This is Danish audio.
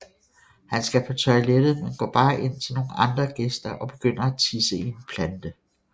Han skal på toilettet men går bare ind til nogle andre gæster og begynder at tisse i en plante